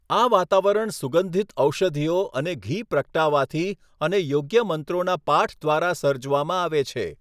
આ વાતાવરણ સુગંધિત ઔષધિઓ અને ઘી પ્રગટાવવાથી અને યોગ્ય મંત્રોના પાઠ દ્વારા સર્જવામાં આવે છે.